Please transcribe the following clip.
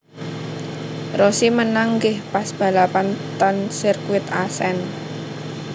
Rossi menang nggih pas balapan ten sirkuit Assen